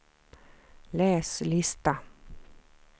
läs lista